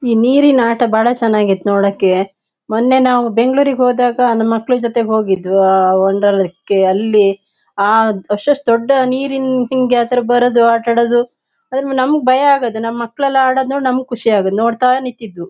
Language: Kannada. ಇ ನಿರೀನ್ ಆಟ ಬಾಳ ಚೆನ್ನಾಗಿತ್ತು ನೋಡೋಕೆ. ಮೊನ್ನೆ ನಾವು ಬೆಂಗಳೂರಿಗೆ ಹೋದಾಗ ನಮ್ ಮಕ್ಕಳ ಜೊತೆ ಹೋಗಿದ್ದು ಆ ವಂಡರ್ಲಾ ಕ್ಕೆ ಅಲ್ಲಿ ಆ ಅಷ್ಟಷ್ಟು ದೊಡ್ಡ ನಿರೀನ್ ಹಿಂಗೆ ಆ ತರ ಬರೋದು ಆಟ ಆಡೋದು ಆದು ನಮಗೆ ಭಯ ಆಗೋದು ನಮ್ಮ್ ಮಕ್ಕಳೆಲ್ಲ ಆಡೋದ್ ನೋಡಿ ನಮಗ್ ಖುಷಿ ಆಗೋದ್ ನೋಡ್ತಾ ನಿಂತಿದ್ವು.